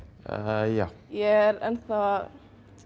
já ég er enn þá að